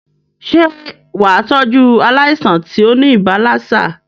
Sé wàá tọ́jú aláìsàn tí óní ibà lassa?